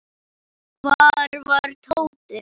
Hvar var Tóti?